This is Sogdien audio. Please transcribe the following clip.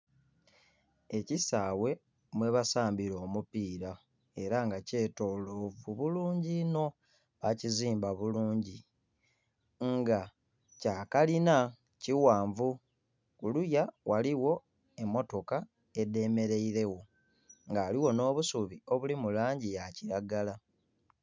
Ekisaawe mwebasambira omupiira era nga kyetoloovu bulungi inho. Bakizimba bulungi nga kya kalina kighanvu. Kuluya ghaligho emmotoka edhemeleiregho, nga ghaligho nh'obusubi obuli mu langi ya kilagala.